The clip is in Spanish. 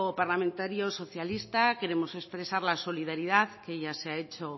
parlamentario socialista queremos expresar la solidaridad que ya se ha hecho